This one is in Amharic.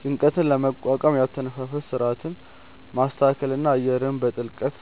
ጭንቀትን ለመቋቋም የአተነፋፈስ ሥርዓትን ማስተካከልና አየርን በጥልቀት